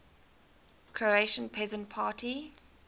croatian peasant party